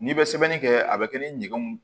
N'i bɛ sɛbɛnni kɛ a bɛ kɛ ni ɲɛgɛnw ye